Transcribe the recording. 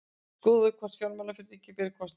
Skoðað hvort fjármálafyrirtæki beri kostnaðinn